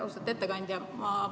Austatud ettekandja!